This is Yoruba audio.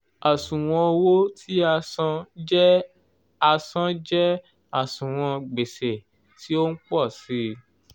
àṣùwọ̀n owó tí a san jẹ́ a san jẹ́ àṣùwọ̀n gbèsè tí o ń pọ̀ sí i.